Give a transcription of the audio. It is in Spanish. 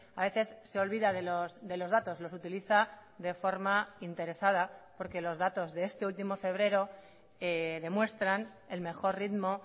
a veces se olvida de los datos los utiliza de forma interesada porque los datos de este último febrero demuestran el mejor ritmo